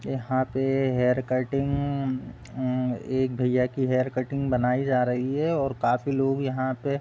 यहाँ पे ये हेयर कटिंग उम्म एक भैया की हेयर कटिंग बनाई जा रही है और काफी लोग यहाँ पे --